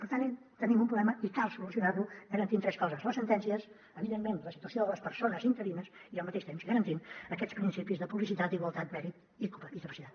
per tant tenim un problema i cal solucionar lo garantint tres coses les sentències evidentment la situació de les persones interines i al mateix temps garantint aquests principis de publicitat igualtat mèrit i capacitat